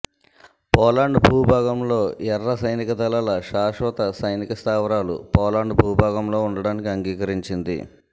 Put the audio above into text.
Poland భూభాగంలో ఎర్ర సైనిక దళాల శాశ్వత సైనికస్థావరాలు పోలాండ్ భూభాగంలో ఉండడానికి అంగీకరించింది